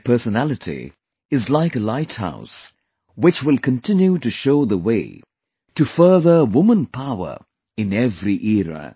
Their personality is like a lighthouse, which will continue to show the way to further woman power in every era